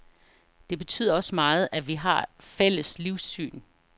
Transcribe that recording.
Det betyder også meget, at vi har fælles livssyn.